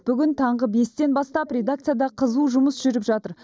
бүгін таңғы бестен бастап редакцияда қызу жұмыс жүріп жатыр